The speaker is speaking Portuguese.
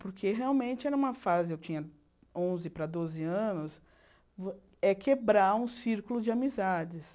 Porque realmente era uma fase, eu tinha onze para doze anos, é quebrar um círculo de amizades.